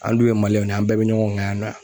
An dun ye Maliɲɛnw ye, an bɛɛ be ɲɔgɔn kan yan.